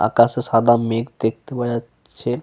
আকাশে সাদা মেঘ দেখতে পাওয়া যাচ্ছে।